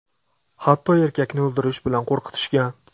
Hatto erkakni o‘ldirish bilan qo‘rqitishgan.